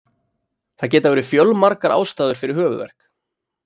Það geta verið fjölmargar ástæður fyrir höfuðverk.